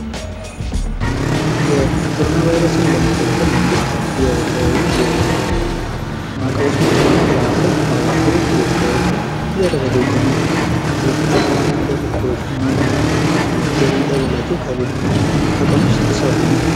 የኮሮና ቫይረስን ለመከላከል መንግስት የተለያዩ ማዕቀቦችን እየጣለ ነው ።ከነዛ ማዕቀቦች መካከል ማህበረሰቡ ከቤት እንዳይወጡ እያደረገ ይገኛል ።ይህ የአማራ ሚድያ ኮርፖሬሽን ነው ።የሚቀርብላቹ ከቀኑ ስድስት ሰዓት ላይ ነው ።